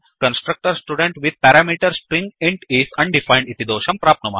वयं constructor student with the parameter string int is undefined